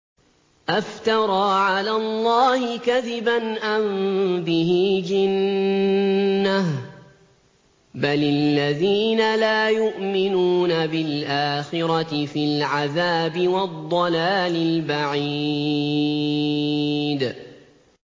أَفْتَرَىٰ عَلَى اللَّهِ كَذِبًا أَم بِهِ جِنَّةٌ ۗ بَلِ الَّذِينَ لَا يُؤْمِنُونَ بِالْآخِرَةِ فِي الْعَذَابِ وَالضَّلَالِ الْبَعِيدِ